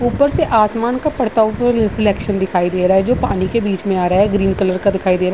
ऊपर से आसमान का पड़ता हुआ रिफ्लेक्शन दिखाई दे रहा है जो पानी के बीच में आ रहा है ग्रीन कलर का दिखाई दे रहा है।